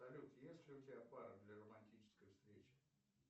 салют есть ли у тебя пара для романтической встречи